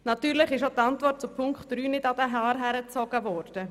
Auch die Antwort zu Punkt 3 ist nicht an den Haaren herbeigezogen.